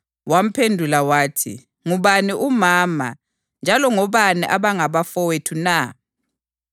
Wamphendula wathi, “Ngubani umama njalo ngobani abangabafowethu na?”